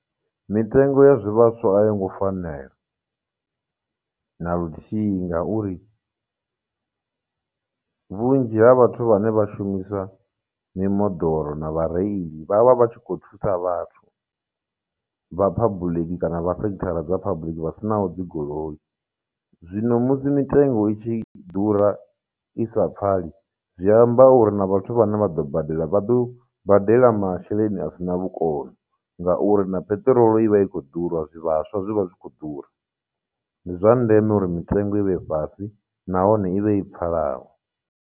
Mitengo ya zwivhaswa a yo ngo fanela na luthihi ngauri vhunzhi ha vhathu vhane vha shumisa mimoḓoro na vhareili vha vha vha tshi khou thusa vhathu vha public kana vha sekithara dza public vha sinaho dzigoloi. Zwino musi mitengo i tshi ḓura, i sa pfali, zwi amba uri na vhathu vhane vha ḓo badela, vha ḓo badela masheleni a sina vhukono, ngauri na peṱirolo ivha i khou ḓura, zwivhaswa zwi vha zwi khou ḓura, ndi zwa ndeme uri mitengo i vhe fhasi, nahone i vhe i pfhalaho.